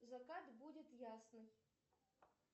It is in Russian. закат будет ясный